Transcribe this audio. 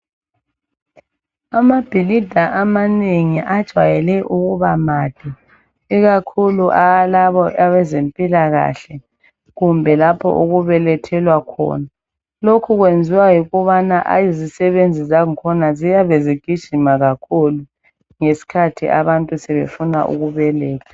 Amabhilida amanengi ajayele ukuba made ikakhulu alawo abezempikahle kumbe lapho okubelethelwa khona lokhu kuyenziwa yikubana izisebenzi zangakhona ziyabe zigijima kakhulu ngesikhathi abantu sefuna ukubeletha.